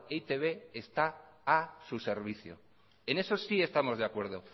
e i te be está a su servicio en eso sí estamos de acuerdo